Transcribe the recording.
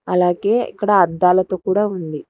అలాగే ఇక్కడ అద్దాలతో కూడా ఉంది.